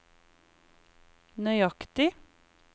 nøyaktig